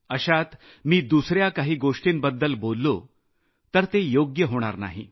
अशात मी दुसऱ्या काही गोष्टींबद्दल बोललो तर ते योग्य होणार नाही